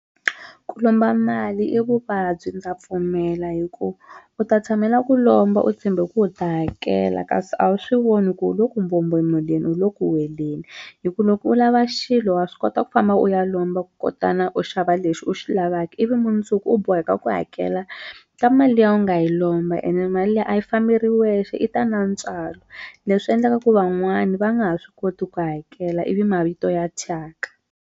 Ku lomba mali i vuvabyi ndza pfumela hi ku u ta tshamela ku lomba u tshembe ku u ta hakela kasi a wu swi voni ku u le ku mbombomeleni u le ku weleni hi ku loko u lava xilo wa swi kota ku famba u ya lomba kutana u xava lexi u xi lavaki ivi mundzuku u boheka ku hakela ka mali liya u nga yi lomba ene mali liya a yi fambei yiri wexe yi ta na ntswalo leswi endlaka ku van'wani va nga ha swi koti ku hakela ivi mavito ya thyaka.